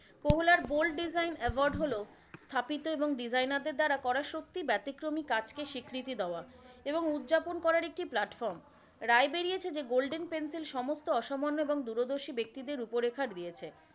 কহলার bold design award হলো স্থাপিত এবং designer দের দ্বারা করা সত্যি ব্যতিক্রমী কাজকে স্বীকৃতি দেওয়া এবং উদযাপন করার একটি plartform রায় বেরিয়েছে যে golden pencil সমস্ত অসামান্য এবং দুরদর্শী ব্যক্তিদের রূপরেখা দিয়েছে।